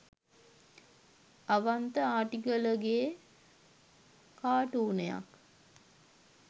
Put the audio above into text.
Avantha Artigalage කාටූනයක්